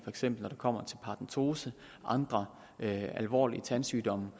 eksempel kommer til paradentose og andre alvorlige tandsygdomme